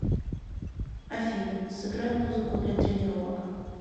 афина сыграй музыку для тренировок